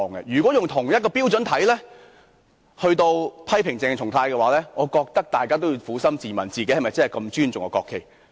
如果要以同一標準來批評鄭松泰議員，我認為大家也要撫心自問，究竟自己是否如此尊重國旗呢？